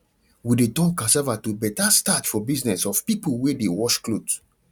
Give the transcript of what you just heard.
we dey turn cassava to better starch for business of people wey de wash clothes